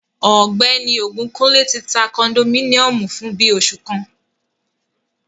Ọgbẹni Ogunkunle ti ta kondominiomu fun bii oṣu kan